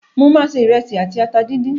Mo máa se ìrẹsì àti ata díndín